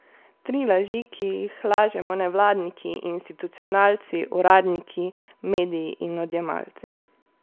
Tri laži, ki jih lažemo nevladniki, institucionalci, uradniki, mediji in odjemalci.